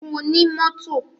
Mo ní mọ́tò.